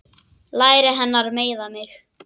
Læri hennar meiða mig.